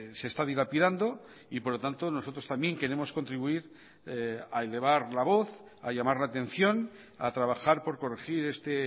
se está dilapidando y por lo tanto nosotros también queremos contribuir a elevar la voz a llamar la atención a trabajar por corregir este